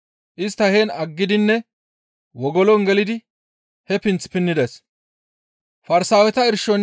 Istta heen aggidinne wogolon gelidi he pinth pinnides.